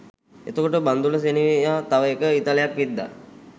එතකොට බන්ධුල සෙනෙවියා තව එක ඊතලයක් විද්දා